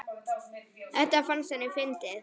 Þetta fannst henni fyndið.